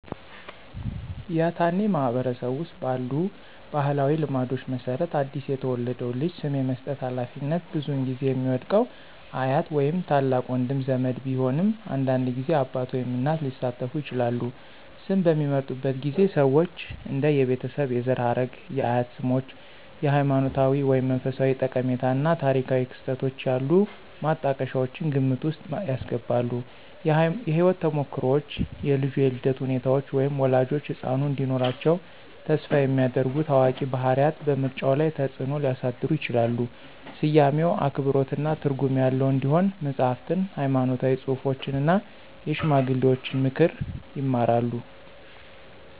ያትአኔ ማህበረሰብ ውስጥ ባሉ ባህላዊ ልማዶች መሰረት አዲስ የተወለደውን ልጅ ስም የመስጠት ሃላፊነት ብዙውን ጊዜ የሚወድቀው አያት ወይም ታላቅ ወንድ ዘመድ ቢሆንም አንዳንድ ጊዜ አባት ወይም እናት ሊሳተፉ ይችላሉ። ስም በሚመርጡበት ጊዜ ሰዎች እንደ የቤተሰብ የዘር ሐረግ፣ የአያት ስሞች፣ ሃይማኖታዊ ወይም መንፈሳዊ ጠቀሜታ እና ታሪካዊ ክስተቶች ያሉ ማጣቀሻዎችን ግምት ውስጥ ያስገባሉ። የህይወት ተሞክሮዎች, የልጁ የልደት ሁኔታዎች, ወይም ወላጆች ህጻኑ እንዲኖራቸው ተስፋ የሚያደርጉ ታዋቂ ባህሪያት በምርጫው ላይ ተጽእኖ ሊያሳድሩ ይችላሉ. ስያሜው አክብሮትና ትርጉም ያለው እንዲሆን መጽሐፍትን፣ ሃይማኖታዊ ጽሑፎችን እና የሽማግሌዎችን ምክር ይማራሉ።